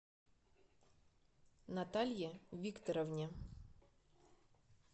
наталье викторовне